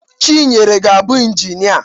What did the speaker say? Chinyere ga-abụ Injịnia.